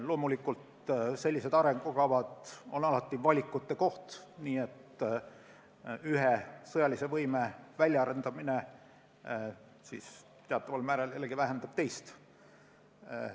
Loomulikult on sellised arengukavad alati valikute koht, nii et ühe sõjalise võime väljaarendamine teataval määral jällegi vähendab teist.